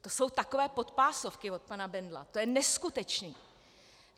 To jsou takové podpásovky od pana Bendla, to je neskutečné.